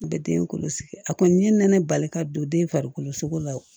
A bɛ den kɔlɔsi a kɔni ye nɛnɛ bali ka don den farikolo la